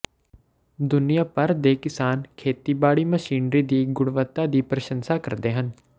ਦੁਨੀਆਂ ਭਰ ਦੇ ਕਿਸਾਨ ਖੇਤੀਬਾੜੀ ਮਸ਼ੀਨਰੀ ਦੀ ਗੁਣਵੱਤਾ ਦੀ ਪ੍ਰਸ਼ੰਸਾ ਕਰਦੇ ਹਨ